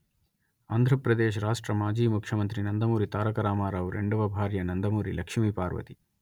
ఆంధ్రప్రదేశ్ రాష్ట్ర మాజీ ముఖ్యమంత్రి నందమూరి తారక రామారావు రెండవ భార్య నందమూరి లక్ష్మీపార్వతి